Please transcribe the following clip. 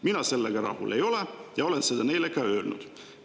Mina sellega rahul ei ole ja olen seda neile ka öelnud.